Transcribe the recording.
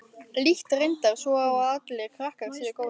Lít reyndar svo á að allir krakkar séu góðir.